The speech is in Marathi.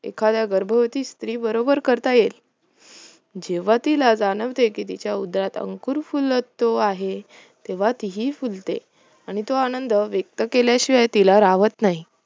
एखाद्या गर्भवती स्त्री बरोबर करता येईल जेव्हा तिला जाणवते तिच्या उदरत अंकुर फुलत आहे, तेव्हा तीही फुलते आणि तो आनंद व्यक्त केल्याशिवाय राहत नाही